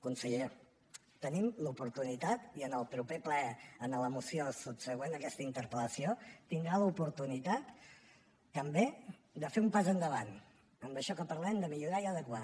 conseller tenim l’oportunitat i en el proper ple a la moció subsegüent a aquesta interpel·lació tindrà l’oportunitat també de fer un pas endavant en això que parlem de millorar i adequar